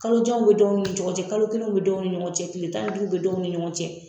Kalojanw be dɔw ni ɲɔgɔn cɛ, kalo kelenw be dɔw ni ɲɔgɔn cɛ, kile tan ni duuruw be dɔw ni ɲɔgɔn cɛ.